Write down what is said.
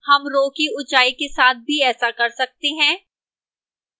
हम row की ऊंचाई के साथ भी ऐसा कर सकते हैं